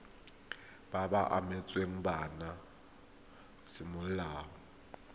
ba ba abetsweng bana semolao